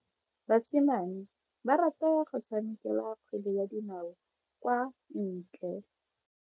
Basimane ba rata go tshameka kgwele ya dinao kwa ntle.